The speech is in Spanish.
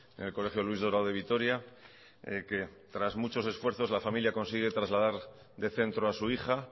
en el colegio luis dorado de vitoria que tras muchos esfuerzos la familia consigue trasladar de centro a su hija